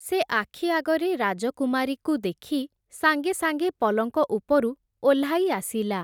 ସେ ଆଖି ଆଗରେ ରାଜକୁମାରୀକୁ ଦେଖି, ସାଙ୍ଗେ ସାଙ୍ଗେ ପଲଙ୍କ ଉପରୁ ଓହ୍ଲାଇ ଆସିଲା ।